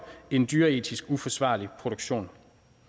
en dyreetisk uforsvarlig produktion